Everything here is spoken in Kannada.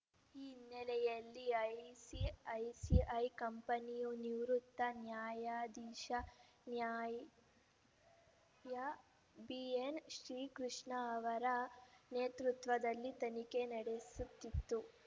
ಈ ಹಿನ್ನೆಲೆಯಲ್ಲಿ ಐಸಿಐಸಿಐ ಕಂಪನಿಯು ನಿವೃತ್ತ ನ್ಯಾಯಾಧೀಶ ನ್ಯಾ ಬಿಎನ್‌ ಶ್ರೀಕೃಷ್ಣ ಅವರ ನೇತೃತ್ವದಲ್ಲಿ ತನಿಖೆ ನಡೆಸುತ್ತಿದ್ದು